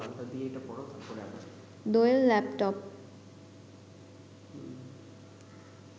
Doyel laptop